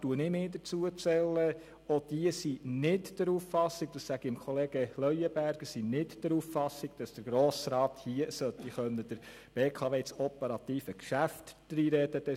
Auch diejenigen, welche diesem Gesetz so zustimmen – und dazu zähle ich mich –, sind nicht der Auffassung, dass der Grosse Rat in das operative Geschäft der BKW hineinreden können soll.